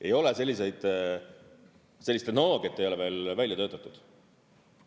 Ei ole selliseid, sellist tehnoloogiat ei ole veel välja töötatud.